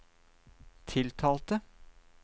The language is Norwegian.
tiltalte